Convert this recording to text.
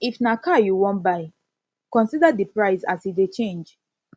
if na car you wan buy consider di price as e dey change